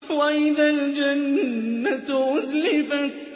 وَإِذَا الْجَنَّةُ أُزْلِفَتْ